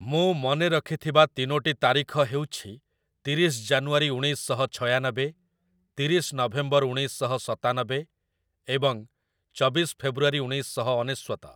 ମୁଁ ମନେ ରଖିଥିବା ତିନୋଟି ତାରିଖ ହେଉଛି ତିରିଶ ଜାନୁଆରୀ ଉଣେଇଶ ଶହ ଛୟାନବେ, ତିରିଶ ନଭେମ୍ବର ଉଣେଇଶ ଶହ ସତାନବେ ଏବଂ ଚବିଶ ଫେବୃଆରୀ ଉଣେଇଶ ଶହ ଅନେଶ୍ଵତ ।